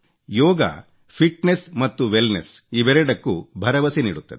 ಯೋಗ fitness ಮತ್ತು wellness ಇವೆರಡಕ್ಕೂ ಭರವಸೆ ನೀಡುತ್ತದೆ